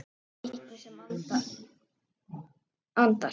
Einhver sem andar.